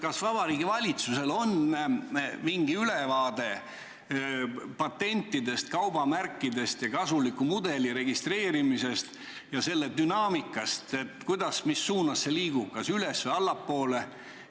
Kas Vabariigi Valitsusel on mingi ülevaade patentidest, kaubamärkidest, kasuliku mudeli registreerimisest ja selle dünaamikast – kuidas, mis suunas see liigub, kas üles- või allapoole?